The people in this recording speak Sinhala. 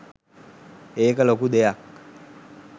ඒක ලොකු දෙයක්